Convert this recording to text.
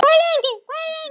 Hvað lengi, hvað lengi?